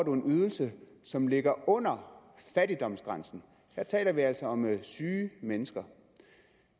en ydelse som ligger under fattigdomsgrænsen her taler vi altså om syge mennesker